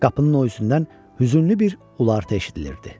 Qapının o içindən hüzünlü bir ulaqti eşidilirdi.